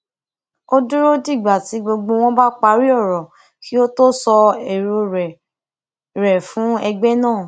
ó dúró dìgbà tí gbogbo wọn bá parí òrò kí ó tó sọ èrò rè fún rè fún ẹgbẹ náà